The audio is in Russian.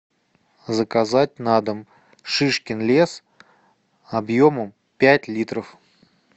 заказать на дом шишкин лес объемом пять литров